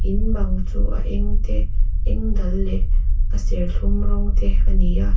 in bang chu a eng te a eng dal leh a serthlum rawng te a ni a.